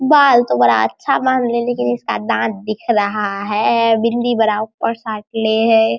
बाल तो बड़ा अच्छा बांध ली लेकिन इसका दांत दिख रहा है बिंदी बड़ा ऊपर साटले है।